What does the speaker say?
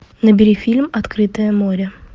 набери фильм открытое море